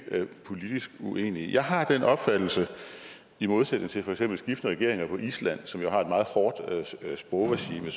politisk uenige jeg har den opfattelse i modsætning til for eksempel skiftende regeringer på island som jo har et meget hårdt sprogregime